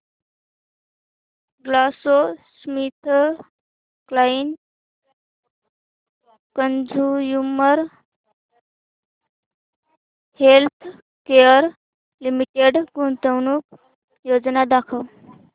GlaxoSmithKline consumer healthcare limited गुंतवणूक योजना दाखव